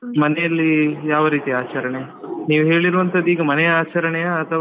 ಮನೆಯಲ್ಲಿ ಯಾವ ರೀತಿಯ ಆಚರಣೆ ನೀವ್ ಹೇಳಿರುವಂತದ್ದು ಈಗ ಮನೆಯ ಆಚರಣೆಯಾ ಅಥವಾ.